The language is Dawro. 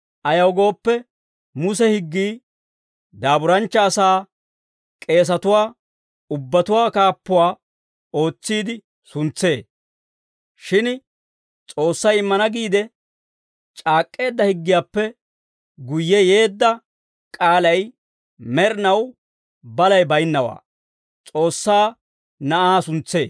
Ayaw gooppe, Muse higgii daaburanchcha asaa k'eesatuwaa ubbatuwaa kaappuwaa ootsiide suntsee; shin S'oossay immana giide c'aak'k'eedda higgiyaappe guyye yeedda k'aalay med'inaw balay baynnawaa, S'oossaa Na'aa suntsee.